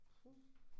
Puh